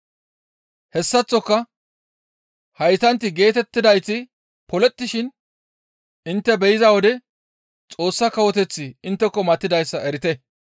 Hessaththoka haytanti geetettidayti polettishin intte be7iza wode Xoossa Kawoteththi intteko matidayssa erite.